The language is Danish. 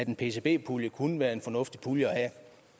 en pcb pulje kunne være en fornuftig pulje at